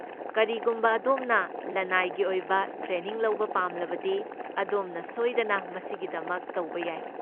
ꯀꯔꯤꯒꯨꯝꯕ ꯑꯗꯣꯝꯅ ꯂꯅꯥꯏꯒꯤ ꯑꯣꯏꯕ ꯇ꯭ꯔꯦꯅꯤꯡ ꯂꯧꯕ ꯄꯥꯝꯂꯕꯗꯤ, ꯑꯗꯣꯝꯅ ꯁꯣꯏꯗꯅ ꯃꯁꯤꯒꯤꯗꯃꯛ ꯇꯧꯕ ꯌꯥꯏ꯫